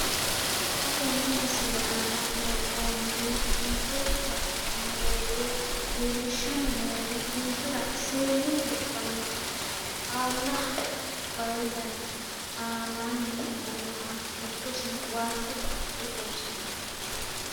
Xa tenne missile aana worroonniri buunxe la'nanni woyiite leellishshanni noori ninkera seennu wodhannoha xaalla wayi dana aanaanni afirinoha giddosi waajjo koatte xawissanno.